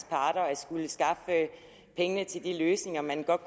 parter at skulle skaffe pengene til de løsninger man godt